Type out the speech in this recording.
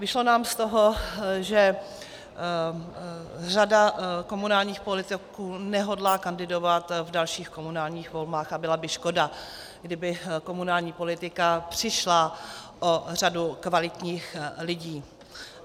Vyšlo nám z toho, že řada komunálních politiků nehodlá kandidovat v dalších komunálních volbách, a byla by škoda, kdyby komunální politika přišla o řadu kvalitních lidí.